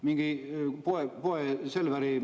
Mingi poe, Selveri …